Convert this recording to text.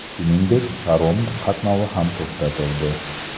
Shuningdek, parom qatnovi ham to‘xtatildi.